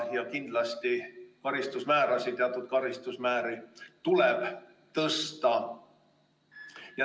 Kindlasti teatud karistusmäärasid tuleb tõsta.